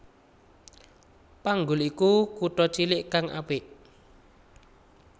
Panggul iku kutha cilik kang apik